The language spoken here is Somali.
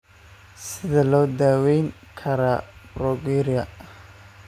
Sidee loo daweyn karaa progeria?